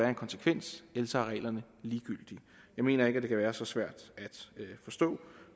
en konsekvens ellers er reglerne ligegyldige jeg mener ikke det kan være så svært at forstå